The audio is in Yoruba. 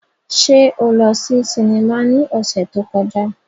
Ṣe o lọ si sinima ni ọsẹ to kọja?